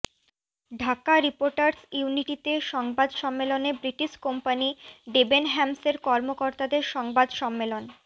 Dhaka reporters ইউনিটিতে সংবাদ সম্মেলনে ব্রিটিশ কোম্পানি ডেবেনহ্যামসের কর্মকর্তাদের সংবাদ সম্মেলন